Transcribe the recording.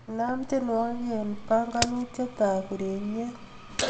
inaam tienwogik en panganutiet ab ureryet